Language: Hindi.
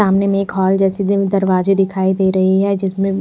सामने मे एक हॉल जैसे दरवाज़े दिखाई दे रहे है जिसमे--